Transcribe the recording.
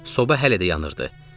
Soba hələ də yanırdı.